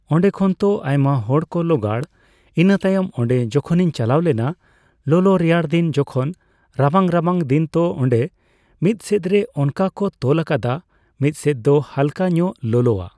ᱚᱸᱰᱮ ᱠᱷᱚᱱ ᱛᱚ ᱟᱭᱢᱟᱦᱚᱲ ᱠᱚ ᱞᱚᱜᱟᱲ ᱾ ᱤᱱᱟᱹᱛᱟᱭᱚᱢ ᱚᱸᱰᱮ ᱡᱚᱠᱷᱚᱱᱤᱧ ᱪᱟᱞᱟᱣ ᱞᱮᱱᱟ ᱞᱚᱞᱚ ᱨᱮᱭᱟᱲᱫᱤᱱ ᱡᱚᱠᱷᱚᱱ ᱨᱟᱵᱟᱝ ᱨᱟᱵᱟᱝᱫᱤᱱ ᱛᱚ ᱚᱸᱰᱮ ᱢᱤᱫᱥᱮᱫ ᱨᱮ ᱚᱱᱠᱟ ᱠᱚ ᱛᱚᱞ ᱟᱠᱟᱫᱟ ᱢᱤᱫᱥᱮᱫ ᱫᱚ ᱦᱟᱞᱠᱟᱧᱚᱜ ᱞᱚᱞᱚᱜᱼᱟ